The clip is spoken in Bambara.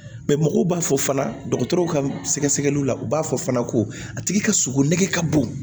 mɔgɔw b'a fɔ fana dɔgɔtɔrɔw ka sɛgɛsɛgɛliw la u b'a fɔ fana ko a tigi ka sogo nege ka bon